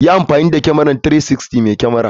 Yi amfani da kyamara 360 mai kyamar.